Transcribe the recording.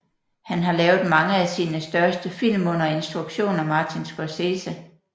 Han har lavet mange af sine største film under instruktion af Martin Scorsese